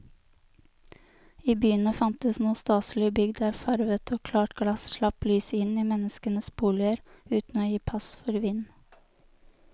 I byene fantes nå staselige bygg der farvet og klart glass slapp lyset inn i menneskenes boliger uten å gi pass for vind.